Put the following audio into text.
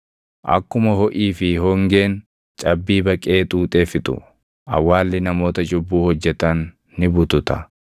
Akkuma hoʼii fi hoongeen cabbii baqee xuuxee fixu, awwaalli namoota cubbuu hojjetan ni butata.